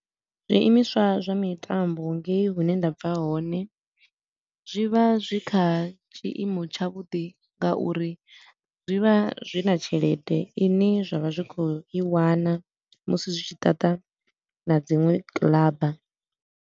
Zwiimiswa zwa mitambo ngei hune nda bva hone, zwi vha zwi kha tshiimo tsha vhuḓi nga uri zwi vha zwi na tshelede i ne zwa vha zwi khou i wana musi zwi tshi ṱaṱa na dziṅwe kilaba.